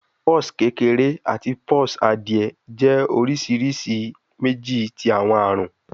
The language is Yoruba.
Pox kekere ati pox adie jẹ awọn oriṣiriṣi oriṣiriṣi meji ti awọn arun